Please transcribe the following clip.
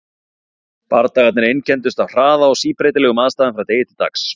Bardagarnir einkenndust af hraða og síbreytilegum aðstæðum frá degi til dags.